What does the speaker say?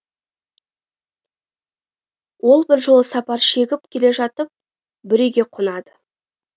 ол бір жолы сапар шегіп келе жатып бір үйге қонады